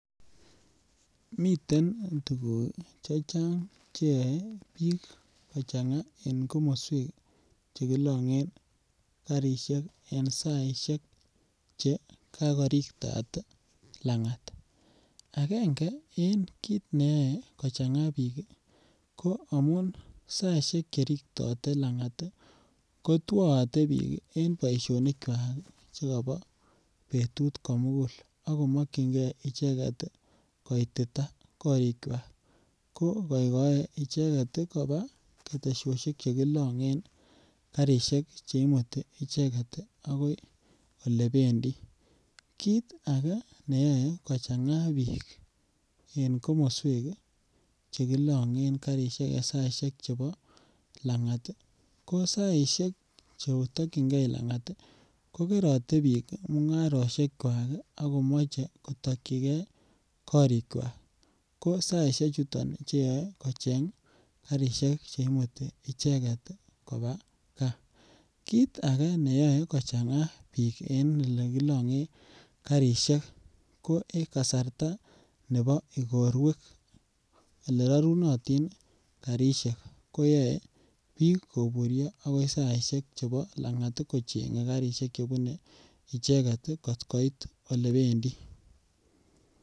Miten tuguk chechang che yoe biik kochanga en komoswek che kolonyen garishek en saishek che kagorigtat langat angenge en kit neyoe kochanga biik ii ko amun saishek che rigtote langat ii ko twoote biik kazishekyak che Kobo betut komugul ako mokyingee icheget ii koititaa korikwak ko goigoe icheget kobaa keteshoshek che kilonyen garishek che imuti icheget ii agoi olebendi. Kiit age neyoe kochanga biik en komoswek che kilonyen garishek en saishek chebo langat ii ko saishek che tokyigee langat ii ko kerote biik mungaroshekwak ii ak komoche kotokyigee korikwak ko saishek chuton ngunon che yoe kocheng che imuti icheget kobaa gaa, kiit age neyoe kochanga biik en ole kilongen garishek ko en kasarta nebo igorwek ole rorunotin garishek koyoe biik koburyo agoi saishek chebo langat ii kochenge garishek chebuni icheget ii kot koit olebendii